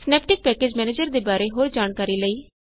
Synaptic package manager ਦੇ ਬਾਰੇ ਹੋਰ ਜਾਣਕਾਰੀ ਲਈ